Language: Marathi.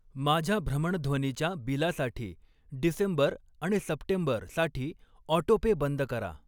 माझ्या भ्रमणध्वनी च्या बिलासाठी डिसेंबर आणि सप्टेंबर साठी ऑटोपे बंद करा.